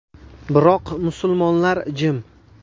Biroq musulmonlar jim.